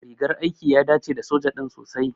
Rigar aiki ya dace da soja din sosai.